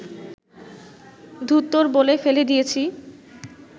‘ধুত্তোর’ বলে ফেলে দিয়েছি